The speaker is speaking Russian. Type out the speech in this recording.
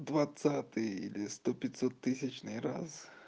двадцатый или сто пятьсот тысячный раз